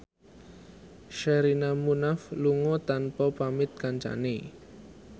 Sherina Munaf lunga tanpa pamit kancane